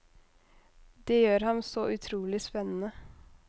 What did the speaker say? Det gjør ham så utrolig spennende.